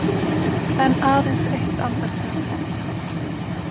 En aðeins eitt andartak.